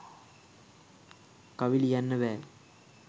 කවි ලියන්න බෑ.